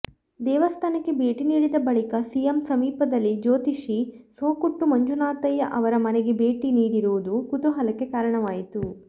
ದೇವಸ್ಥಾನಕ್ಕೆ ಭೇಟಿ ನೀಡಿದ ಬಳಿಕ ಸಿಎಂ ಸಮೀಪದಲ್ಲಿ ಜ್ಯೋತಿಷಿ ಸೊಕ್ಕೊಟ್ಟು ಮಂಜುನಾಥಯ್ಯ ಅವರ ಮನೆಗೂ ಭೇಟಿ ನೀಡಿರುವುದು ಕುತೂಹಲಕ್ಕೆ ಕಾರಣವಾಯಿತು